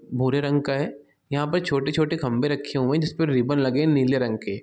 भूरे रंग का है यहाँ पे छोटे-छोटे खम्भे रखे हुए हैं जिसपे रीबन लगे नीले रंग के--